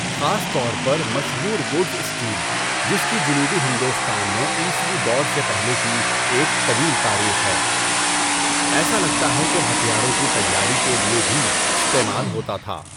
خاص طور پر مشہور ووٹز اسٹیل، جس کی جنوبی ہندوستان میں عیسوی دور سے پہلے کی ایک طویل تاریخ ہے، ایسا لگتا ہے کہ ہتھیاروں کی تیاری کے لیے بھی استعمال ہوتا تھا۔